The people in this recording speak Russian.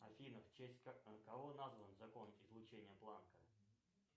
афина в честь кого назван закон излучения планка